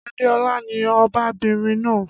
Adéọlá ni ọbabinrin náà.